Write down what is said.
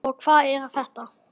og Hvað er þetta?